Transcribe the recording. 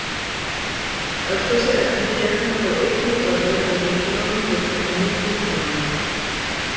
Öll þessi efni gegna þó einnig öðrum og mikilvægum hlutverkum í líkamanum.